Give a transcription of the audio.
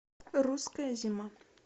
русская зима